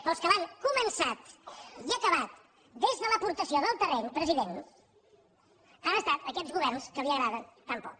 però els que l’han començat i acabat des de l’aportació del terreny president han estat aquests governs que li agraden tan poc